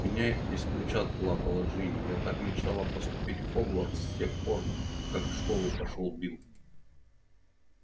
меня исключат плакала джинни я так мечтала поступить в хогвартс с тех самых пор как в школу пошёл билл